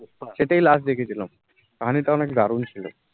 এটেই last দেখ ছিলাম, কাহানি টা অনেক দারুন ছিলো